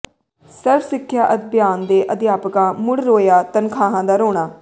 ਸਰਵ ਸਿੱਖਿਆ ਅਭਿਆਨ ਦੇ ਅਧਿਆਪਕਾਂ ਮੁੜ ਰੋਇਆ ਤਨਖਾਹਾਂ ਦਾ ਰੋਣਾ